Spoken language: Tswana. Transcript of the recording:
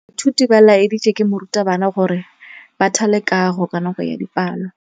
Baithuti ba laeditswe ke morutabana gore ba thale kagô ka nako ya dipalô.